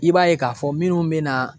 I b'a ye k'a fɔ minnu bɛna